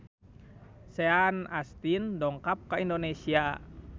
Sean Astin dongkap ka Indonesia